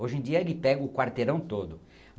Hoje em dia ele pega o quarteirão todo.